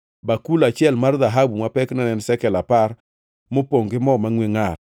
bakul achiel mar dhahabu ma pekne ne en shekel apar, mopongʼ gi mo mangʼwe ngʼar;